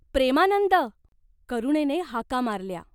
"प्रेमानंद," करुणेने हाका मारल्या.